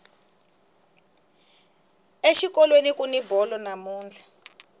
exikolweni kuni bolo namuntlha